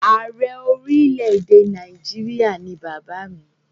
Ààrẹ orílẹ̀-èdè Nàìjíríà ni bàbá mi.